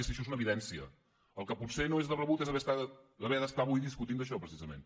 si això és una evidència el que potser no és de rebut és avui haver de discutir d’això precisament